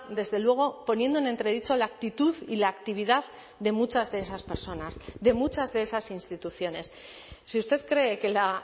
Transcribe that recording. desde luego poniendo en entredicho la actitud y la actividad de muchas de esas personas de muchas de esas instituciones si usted cree que la